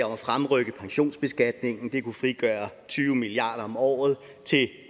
om at fremrykke pensionsbeskatningen det kunne frigøre tyve milliard kroner om året til